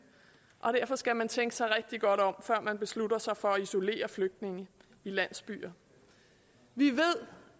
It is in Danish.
og derfor skal man tænke sig rigtig godt om før man beslutter sig for at isolere flygtninge i landsbyer vi ved